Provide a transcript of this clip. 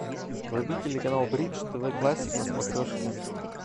вруби телеканал бридж тв классик на смотрешке